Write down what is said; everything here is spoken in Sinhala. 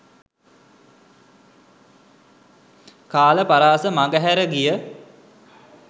කාල පරාස මඟහැර ගිය